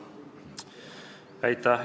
Aitäh!